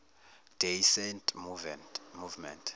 day saint movement